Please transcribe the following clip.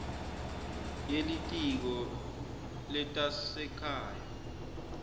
ye litiko letasekhaya